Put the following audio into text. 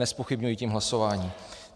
Nezpochybňují tím hlasování.